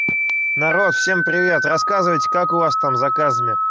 народ всем привет рассказывай как у вас там заказами